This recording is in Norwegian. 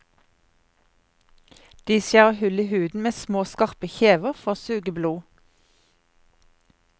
De skjærer hull i huden med små, skarpe kjever for å suge blod.